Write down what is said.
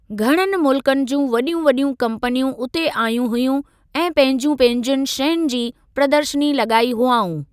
घणनि मुल्कनि जूं वडि॒यूं वडि॒यूं कम्पनियूं उते आयूं हुयूं ऐं पंहिंजियुनि पंहिंजियुनि शयुनि जी प्रदर्शनी लॻाई हुआऊं।